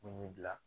Mun b'i bila